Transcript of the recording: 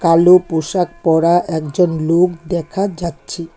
কালো পোশাক পরা একজন লোক দেখা যাচ্ছে।